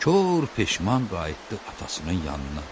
Kor peşman qayıtdı atasının yanına.